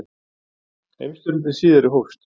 Heimsstyrjöldin síðari hófst.